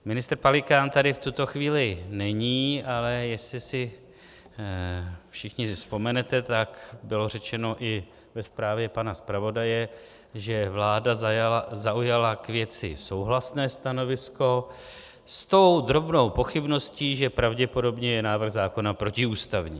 Ministr Pelikán tady v tuto chvíli není, ale jestli si všichni vzpomenete, tak bylo řečeno i ve zprávě pana zpravodaje, že vláda zaujala k věci souhlasné stanovisko s tou drobnou pochybností, že pravděpodobně je návrh zákona protiústavní.